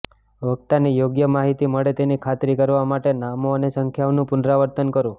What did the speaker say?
વક્તાને યોગ્ય માહિતી મળે તેની ખાતરી કરવા માટે નામો અને સંખ્યાઓનું પુનરાવર્તન કરો